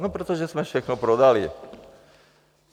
No protože jsme všechno prodali.